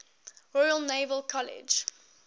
royal naval college